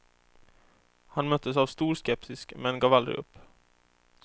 Han möttes av stor skepsis, men gav aldrig upp.